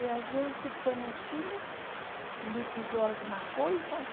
E a gente foi no Chile, liquidou algumas coisas.